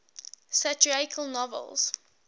satirical novels